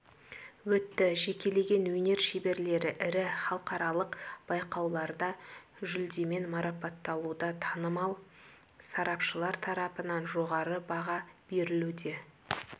өтті жекелеген өнер шеберлері ірі халықаралық байқауларда жүлдемен марапатталуда танымал сарапшылар тарапынан жоғары баға берілуде